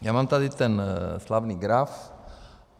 Já mám tady ten slavný graf .